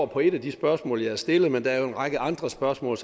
på et af de spørgsmål jeg har stillet men der er jo en række andre spørgsmål